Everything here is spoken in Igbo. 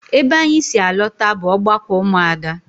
Ebe anyị si alọta bụ ọgbakọ ụmụ Ada